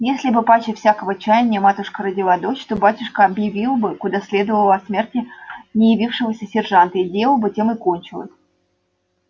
если б паче всякого чаяния матушка родила дочь то батюшка объявил бы куда следовало о смерти неявившегося сержанта и дело бы тем и кончилось